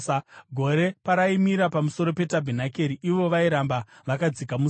Gore paraimira pamusoro petabhenakeri, ivo vairamba vakadzika musasa.